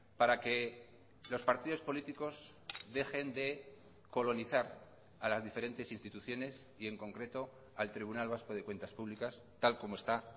para que los partidos políticos dejen de colonizar a las diferentes instituciones y en concreto al tribunal vasco de cuentas públicas tal como está